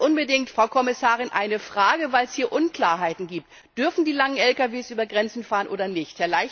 ist. Als letztes, Frau Kommissarin, eine Frage, weil es hier Unklarheiten gibt Dürfen die langen Lkws über Grenzen fahren oder nicht?